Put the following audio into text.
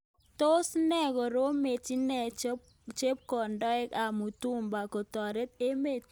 Tos ne koromet kinde chepkondok ab mutumba kotoret emet.